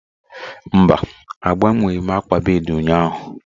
Mba, agbanweghị m akwa akwa bed ụnyahụ